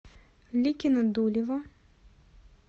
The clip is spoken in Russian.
ликино дулево